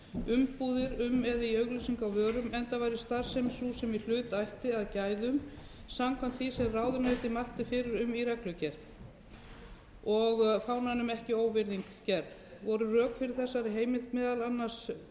umbúðir um eða í auglýsingu á vörum enda væri starfsemi sú sem í hlut ætti að gæðum samkvæmt því sem ráðuneytið mælti fyrir um í reglugerð og fánanum ekki óvirðing gerð voru rök fyrir þessari heimild meðal annars þau að auka þyrfti frjálsræði um